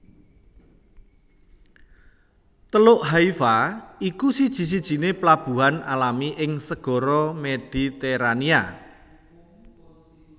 Teluk Haifa iku siji sijiné plabuhan alami ing Segara Mediterania